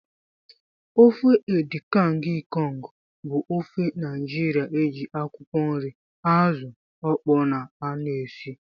Ofe edikang ikong bụ ofe Naijiria eji akwụkwọ nri, azụ okpoo na aṅụ esị.